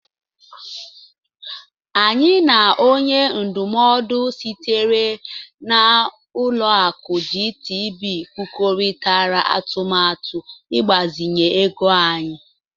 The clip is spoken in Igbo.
Anyị na onye ndụmọdụ sitere na Ụlọakụ GTB kwurịtara atụmatụ ịgbazinye ego anyị.